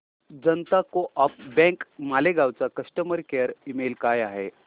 जनता co-op bank Malegaon चा customer care email काय आहे